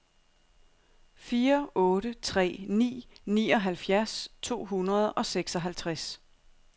fire otte tre ni nioghalvfjerds to hundrede og seksoghalvtreds